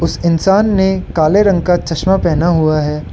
इस इंसान ने काले रंग का चश्मा पहना हुआ है।